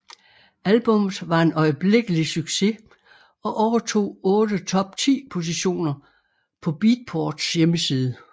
Albummet var en øjeblikkelig succes og overtog otte top 10 positioner på Beatports hjemmeside